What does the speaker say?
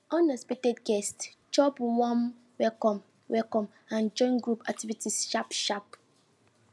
unexpected guests chop warm welcome welcome and join group activities sharp sharp